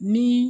Ni